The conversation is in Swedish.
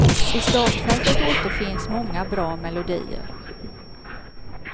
I startfältet återfinns många bra melodier.